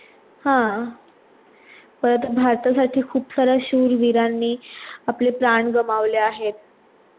हा परत भरता साठी खूप सारे शूर वीरांनी आपले प्राण गमवले आहेत.